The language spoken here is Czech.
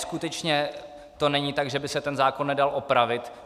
Skutečně to není tak, že by se ten zákon nedal opravit.